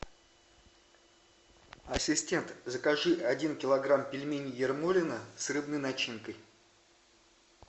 ассистент закажи один килограмм пельменей ермолино с рыбной начинкой